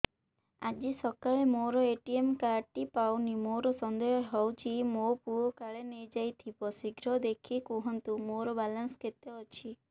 ଆଜି ସକାଳେ ମୋର ଏ.ଟି.ଏମ୍ କାର୍ଡ ଟି ପାଉନି ମୋର ସନ୍ଦେହ ହଉଚି ମୋ ପୁଅ କାଳେ ନେଇଯାଇଥିବ ଶୀଘ୍ର ଦେଖି କୁହନ୍ତୁ ମୋର ବାଲାନ୍ସ କେତେ ଅଛି